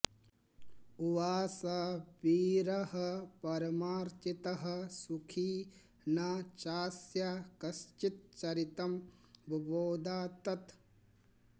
उवास वीरः परमार्चितः सुखी न चास्य कश्चिच्चरितं बुबोध तत्